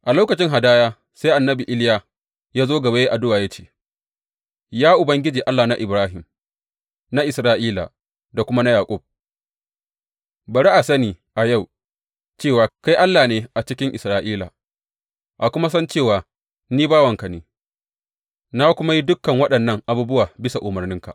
A lokacin hadaya, sai annabi Iliya ya zo gaba ya yi addu’a, ya ce, Ya Ubangiji Allah na Ibrahim, na Isra’ila da kuma na Yaƙub, bari a sani a yau cewa kai Allah ne a cikin Isra’ila, a kuma san cewa ni bawanka ne, na kuma yi dukan waɗannan abubuwa bisa umarninka.